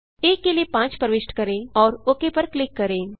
आ के लिए 5 प्रविष्ट करें और ओक पर क्लिक करें